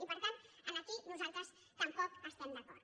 i per tant aquí nosaltres tampoc hi estem d’acord